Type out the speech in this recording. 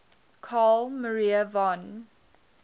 carl maria von